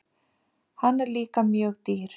Hann er líka mjög dýr.